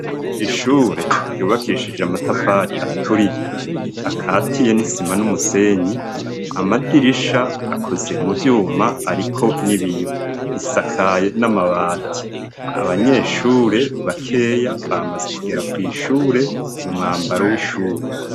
Ishure ryubakishije amatafari aturiye. Akatiye n'isima n'umusenyi. Amadirisha akoze mu vyuma ariko n'ibiyo. Risakaye n'amabati, abanyeshure bakeya bamaze kugera kw'shure mu mwambaro w'ishure.